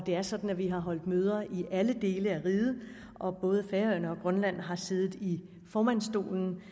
er sådan at vi har holdt møder i alle dele af riget og både færøerne og grønland har siddet i formandsstolen